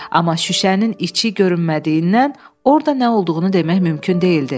Amma şüşənin içi görünmədiyindən orda nə olduğunu demək mümkün deyildi.